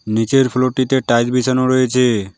নিচের ফ্লোরটিতে টাইলস বিছানো রয়েছে।